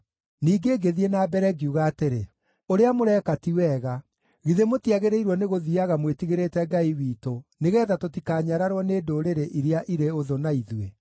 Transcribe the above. Ningĩ ngĩthiĩ na mbere ngiuga atĩrĩ, “Ũrĩa mũreka ti wega. Githĩ mũtiagĩrĩirwo nĩ gũthiiaga mwĩtigĩrĩte Ngai witũ nĩgeetha tũtikanyararwo nĩ ndũrĩrĩ iria irĩ ũthũ na ithuĩ?